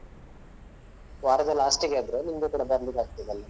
ವಾರದ last ಗೆ ಆದ್ರೆ ನಿಮ್ಗೆ ಕೂಡ ಬರ್ಲಿಕ್ಕೆ ಆಗ್ತದಲ್ಲ .